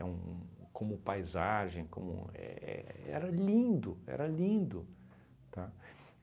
um... como paisagem, como... éh éh era lindo, era lindo, tá?